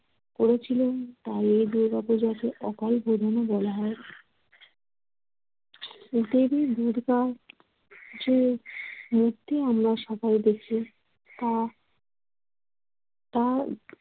করেছিলেন তাই এ দুর্গাপূজাকে অকালবোধনও বলা হয়। দেবী দূর্গা যে মূর্তি আমরা সবাই দেখি তা তা